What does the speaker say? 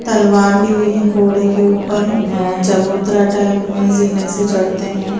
तलवार ली हुई हैं घोड़े के ऊपर अअ चबूतरा टाइप में जीने से चढ़ते हैं।